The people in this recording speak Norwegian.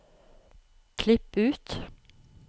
Klipp ut